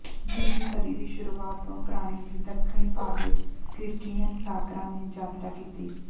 ਦੂਜੀ ਸਦੀ ਦੀ ਸ਼ੁਰੂਆਤ ਤੋਂ ਪ੍ਰਾਣੀ ਦੀ ਦੱਖਣੀ ਭਾਗ ਵਿਚ ਕ੍ਰਿਸਚੀਅਨ ਸਾਕਰਾਂ ਨੇ ਯਾਤਰਾ ਕੀਤੀ